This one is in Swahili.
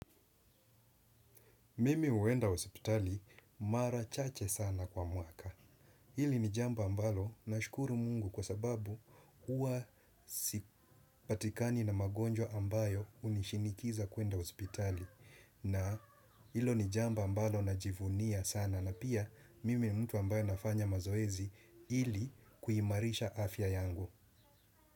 Mimi huenda hospitali, mara chache sana kwa mwaka. Hili ni jambo ambalo, nashukuru Mungu kwa sababu, huwa sipatikani na magonjwa ambayo, hunishinikiza kuenda hospitali. Na, hilo ni jambo ambalo najivunia sana na pia, mimi mtu ambayo nafanya mazoezi ili, kuimarisha afya yangu.